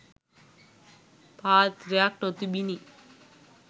පාත්‍රයක් නොතිබුණි.